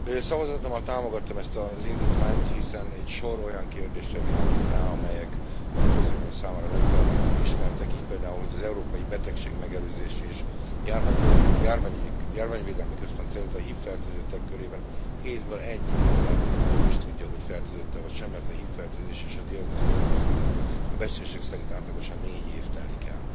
Szavazatommal támogattam ezt az indítványt, hiszen egy sor olyan kérdésre világít rá, amelyek a közvélemény számára nem feltétlenül ismertek, így például hogy az Európai Betegségmegelőzési és Járványvédelmi Központ szerint a HIV fertőzöttek körében a hétből egy ember nem is tudja, hogy fertőzött e, vagy sem, mert a HIV fertőzés és a diagnosztizálás között a becslések szerint átlagosan négy év telik el.